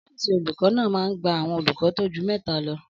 Ọ́fìsì olùkọ́ náà máa n gba àwọn olùkọ́ tó ju mẹ́ta lọ